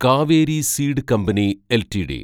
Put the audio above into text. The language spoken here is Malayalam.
Kaveri seed company LTD